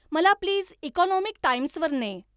मला please economic टाइम्सवर ने.